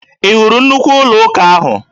Ị hụrụ nnukwu ụlọụka ahụ?